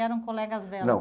Eram colegas dela? Não.